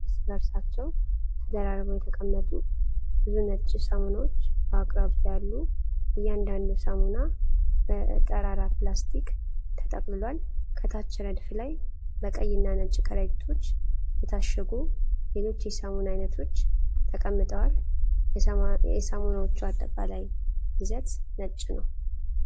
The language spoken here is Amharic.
እርስ በእርሳቸው ተደራርበው የተቀመጡ ብዙ ነጭ ሳሙናዎች በአቅራቢያ አሉ። እያንዳንዱ ሳሙና በጠራራ ፕላስቲክ ተጠቅልሏል። ከታች ረድፍ ላይ በቀይ እና ነጭ ከረጢቶች የታሸጉ ሌሎች የሳሙና አይነቶች ተቀምጠዋል። የሳሙናዎቹ አጠቃላይ ይዘት ነጭ ነው።